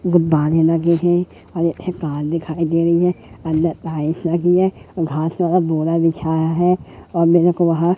गुब्बारे लगे हैं और एक कार दिखाई दे रही है अंदर टाइल्स लगी है घास लगा बोरा बिछाया है और मेरेको वहां--